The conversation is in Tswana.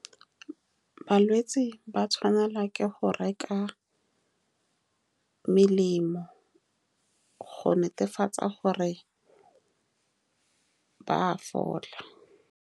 Balwetsi ba tshwanelwa ke go reka melemo. Go netefatsa gore ba a fola.